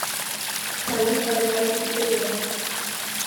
салют байкальский тб